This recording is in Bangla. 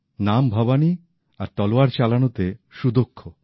নাম ভবানী আর তলোয়ার চালানোতে সুদক্ষ